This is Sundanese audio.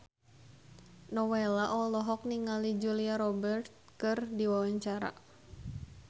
Nowela olohok ningali Julia Robert keur diwawancara